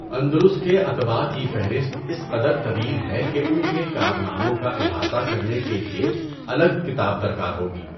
اندلس کے اَطباء کی فہرست اِس قدر طویل ہے کہ اُن کے کارناموں کا اِحاطہ کرنے کے لیے الگ کتاب درکار ہوگی۔